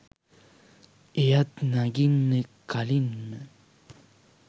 එයත් නඟින්න කලින්ම